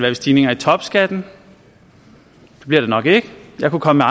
ved stigninger i topskatten det bliver det nok ikke jeg kunne komme